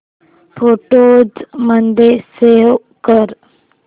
photos मध्ये save कर